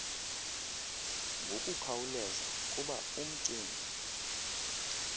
ngokukhawuleza kuba uncmb